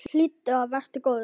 Hlýddu og vertu góður!